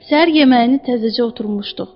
Səhər yeməyini təzəcə oturmuşduq.